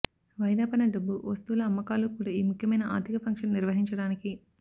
వాయిదాపడిన డబ్బు వస్తువుల అమ్మకాలు కూడా ఈ ముఖ్యమైన ఆర్ధిక ఫంక్షన్ నిర్వహించడానికి